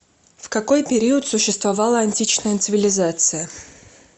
в какой период существовала античная цивилизация